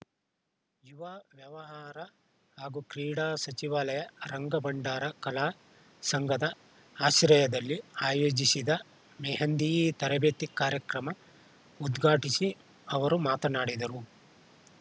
ಯುವ ವ್ಯವಹಾರ ಹಾಗೂ ಕ್ರೀಡಾ ಸಚಿವಾಲಯ ರಂಗ ಭಂಡಾರ ಕಲಾ ಸಂಘದ ಆಶ್ರಯದಲ್ಲಿ ಆಯೋಜಿಸಿದ್ದ ಮೆಹಂದಿ ತರಬೇತಿ ಕಾರ್ಯಕ್ರಮ ಉದ್ಘಾಟಿಸಿ ಅವರು ಮಾತನಾಡಿದರು